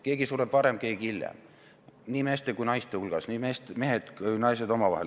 Keegi sureb varem, keegi hiljem – nii meeste kui ka naiste hulgas.